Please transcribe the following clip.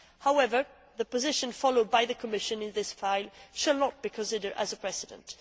However, the position followed by the Commission in this file shall not be considered as a precedent.